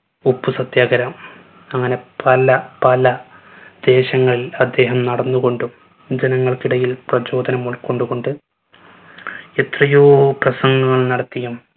ഉപ്പ് സത്യാഗ്രഹം അങ്ങനെ പല പല ദേശങ്ങളിൽ അദ്ദേഹം നടന്നു കൊണ്ടും ജനങ്ങൾക്കിടയിൽ പ്രചോദനം ഉൾക്കൊണ്ടു കൊണ്ട് എത്രയോ പ്രസംഗങ്ങൾ നടത്തിയും